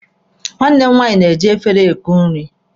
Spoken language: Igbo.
Nwanne m nwaanyị na-eji efere eku nri.